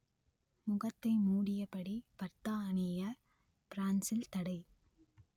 முகத்தை மூடியபடி பர்தா அணிய பிரான்சில் தடை